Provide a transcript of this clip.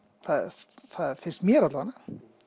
það finnst mér alla vega